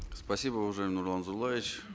спасибо уважаемый нурлан зайроллаевич